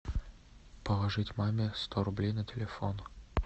положить маме сто рублей на телефон